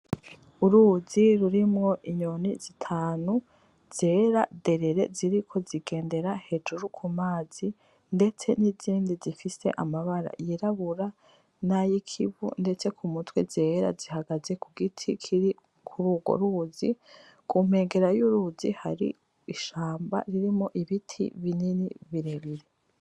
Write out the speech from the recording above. Uruzi rurimwo inyoni zitanu, zera derere ziriko zigendera hejuru ku mazi, ndetse n'izindi zifise amabara yirabura n'ayikivu ndetse ku mutwe zera, zihagaze ku giti kiri kuri urwo ruzi, ku nkengera y'urwo ruzi hari ishamba harimwo ibiti binini birebire.